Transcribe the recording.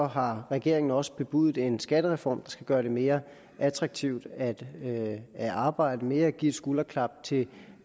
har regeringen også bebudet en skattereform skal gøre det mere attraktivt at at arbejde ved at give et skulderklap til